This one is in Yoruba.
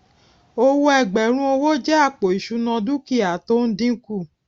owó ẹgbẹrún owó jẹ àpò ìṣúná dúkìá tó ń dínkù